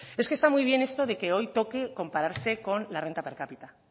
es que está muy bien esto de que hoy toque compararse con la renta per cápita